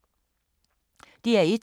DR1